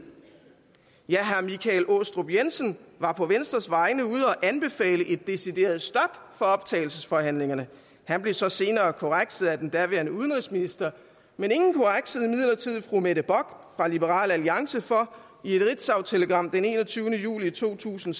herre michael aastrup jensen var på venstres vegne ude at anbefale et decideret stop for optagelsesforhandlingerne han blev så senere korrekset af den daværende udenrigsminister men ingen korreksede imidlertid fru mette bock fra liberal alliance for i et ritzautelegram den enogtyvende juli to tusind